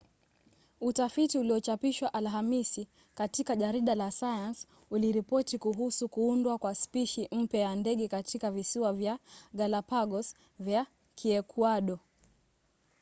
utafiti uliochapishwa alhamisi katika jarida la science uliripoti kuhusu kuundwa kwa spishi mpya ya ndege katika visiwa vya galapagos vya kiekuado